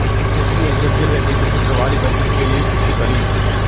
செஞ்சி அருகே முயல்வேட்டைக்கு சென்ற வாலிபர் மின் வேலியில் சிக்கி பலி